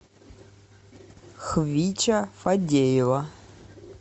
хвича фадеева